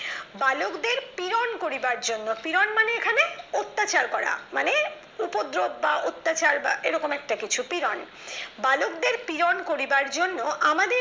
বালকদের প্রেরণ করিবার জন্য পিরন মানে এখানে অত্যাচার করা মানে উপর জোর বা অত্যাচার বা এরকম একটা কিছু পিরন বালকদের পিরণ করিবার জন্য আমাদের